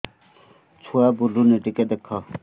ଛୁଆ ବୁଲୁନି ଟିକେ ଦେଖ